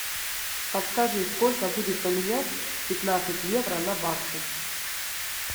подскажи сколько будет поменять пятнадцать евро на баксы